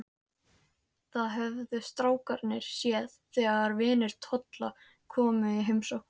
Það höfðu strákarnir séð þegar vinir Tolla komu í heimsókn.